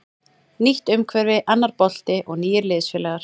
Nýtt umhverfi, annar bolti og nýir liðsfélagar.